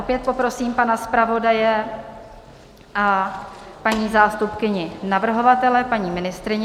Opět poprosím pana zpravodaje a paní zástupkyni navrhovatele, paní ministryni.